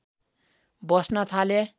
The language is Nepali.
बस्न थाले